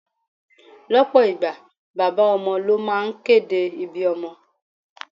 Lọpọ ìgbà, bàbá ọmọ ló máa ń kéde ibí ọmọ.